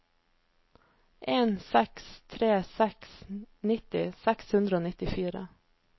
en seks tre seks nitti seks hundre og nittifire